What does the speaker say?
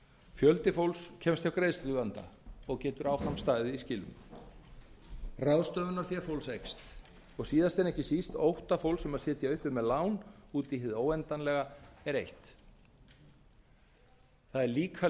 fjöldi fólks kemst hjá greiðsluvanda og getur áfram staðið í skilum ráðstöfunarfé fólks eykst og síðast en ekki síst ótta fólks um að sitja uppi með lán út í hið óendanlega er eytt það er líka